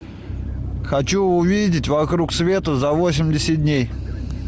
хочу увидеть вокруг света за восемьдесят дней